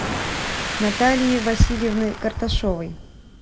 натальи васильевны карташовой